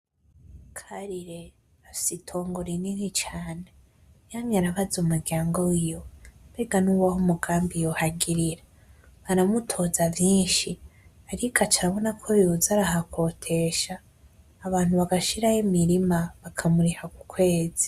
Karire afise itongo rinini cane, yamye arabaza umuryango wiwe mbega n'uwahe mugambi yohagirira baramutoza vyinshi, ariko ac'arabona ko yoza arahakotesha abantu bagashirayo imirima bakamuriha ku kwezi.